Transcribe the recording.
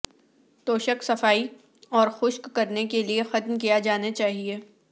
توشک صفائی اور خشک کرنے کے لئے ختم کیا جانا چاہیے